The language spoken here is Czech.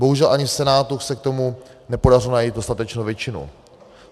Bohužel ani v Senátu se k tomu nepodařilo najít dostatečnou většinu.